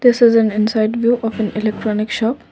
this is an inside view of an electronic shop.